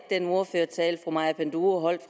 den ordførertale fru maja panduro holdt